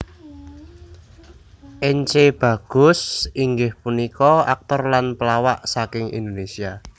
Ence Bagus inggih punika aktor lan pelawak saking Indonesia